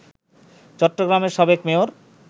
চট্টগ্রামের সাবেক মেয়র